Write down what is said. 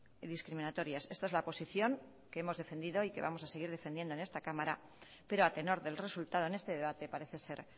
y discriminatorias esta es la posición que hemos defendido y que vamos a seguir defendiendo en esta cámara pero a tenor del resultado en este debate parece ser